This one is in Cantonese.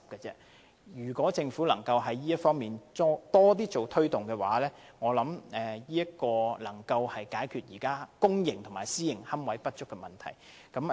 如果政府在這方面多加推動，我認為會有助解決現時公營和私營龕位不足的問題。